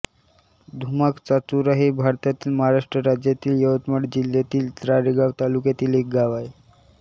धुमाकचाचोरा हे भारतातील महाराष्ट्र राज्यातील यवतमाळ जिल्ह्यातील राळेगांव तालुक्यातील एक गाव आहे